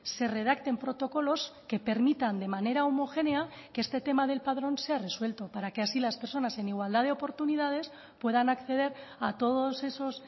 se redacten protocolos que permitan de manera homogénea que este tema del padrón sea resuelto para que así las personas en igualdad de oportunidades puedan acceder a todos esos